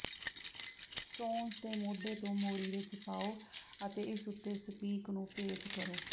stones ਦੇ ਮੋਢੇ ਤੋਂ ਮੋਰੀ ਵਿੱਚ ਪਾਓ ਅਤੇ ਇਸ ਉੱਤੇ ਸਪੀਕ ਨੂੰ ਪੇਚ ਕਰੋ